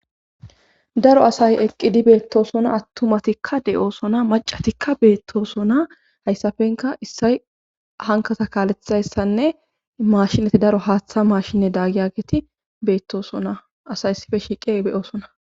Daro asay eqqidi beettosona attumatikka de7oosona macatikka beettosona hayssafenka issay hankasa kaalexayssanne maashinati daro haaththa maashinne daagiya geeti beettosona asay ssife shiiqe beyoosona